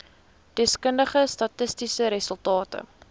deskundige statistiese resultate